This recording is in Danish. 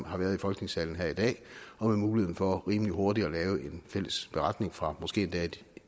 har været i folketingssalen her i dag og med muligheden for rimelig hurtigt at lave en fælles beretning fra måske endda et